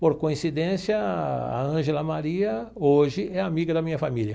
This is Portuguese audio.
Por coincidência, a Ângela Maria hoje é amiga da minha família.